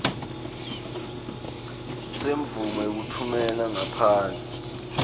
semvumo yekutfumela ngaphandle